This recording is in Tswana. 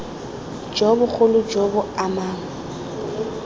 jo bogolo jo bo amang